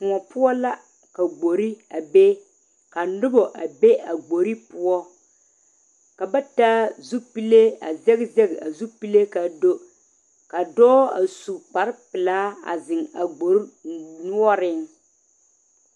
Kôɔ poɔ la ka gbori a be ka noba a be a gbori poɔ ka ba taa zupelee a zeŋ zeŋ a zupelee kaa do ka dɔɔ a su kpare pelaa a zeŋ a gbori noɔreŋ